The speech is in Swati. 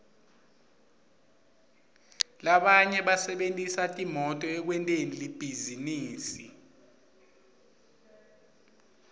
labanye basebentisa timoto ekwenteni libhizinisi